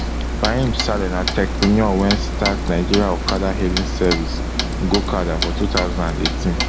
fahim saleh na techpreneur wey start nigeria okada hailing service gokada for two thousand and eighteen